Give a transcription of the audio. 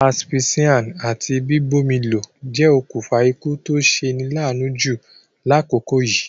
Asphyxia àti bíbómilo je okùnfa ikú to seni laanu ju lákòkò yìí